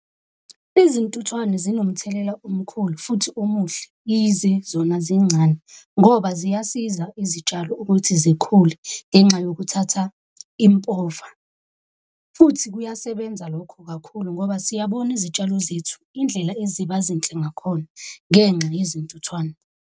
Izintuthwane zinomthelela omkhulu futhi omuhle yize zona zincane, ngoba ziyasiza izitshalo ukuthi zikhule ngenxa yokuthatha impova. Futhi kuyasebenza lokho kakhulu ngoba siyabona izitshalo zethu indlela eziba zinhle ngakhona ngenxa yezintuthwane.